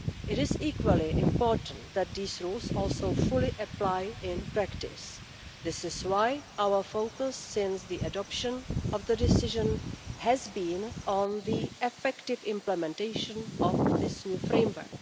It is equally important that these rules also fully apply in practice. This is why our focus since the adoption of the decision has been on the effective implementation of this new framework.